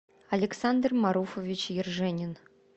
александр маруфович ерженин